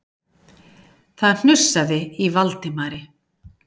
Það hnussaði í Valdimari.